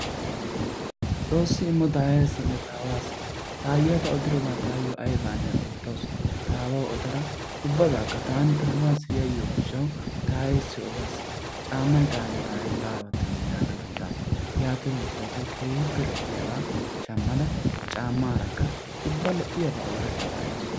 Xoossi immo taayeessinne taawaassi taayiya ta odirobaa taayyo ayibaanne oottawus. Taawawu odara ubabaakka taani taawaayyo yayiyoo gishawu taayeessi odas. Caammay taayyo taaye baawattennee uaagada odaas. Yaatiro gishshawu tawu keehippe lo"iyaaga shammada caammaarakka ubba lo"iyaabaa oorattabaa ehaasu.